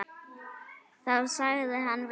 Þá sagði hann: Viltu nudd?